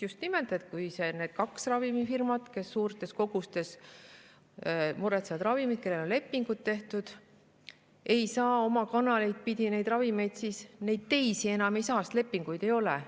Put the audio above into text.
Just nimelt, kui need kaks firmat, kes suurtes kogustes muretsevad ravimeid, mille kohta on lepingud tehtud, ei saa oma kanaleid pidi neid ravimeid, siis ka teisi kanaleid pidi ei saa, sest lepinguid ei ole.